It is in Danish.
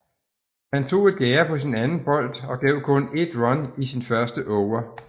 Han tog et gærde på sin anden bold og gav kun 1 run i sin første over